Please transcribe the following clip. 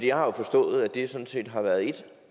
jeg har jo forstået at det sådan set har været et